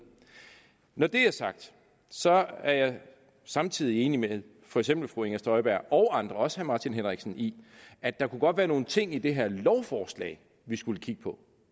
når det er sagt er jeg samtidig enig med for eksempel fru inger støjberg og andre også herre martin henriksen i at der godt kunne være nogle ting i det her lovforslag vi skulle kigge på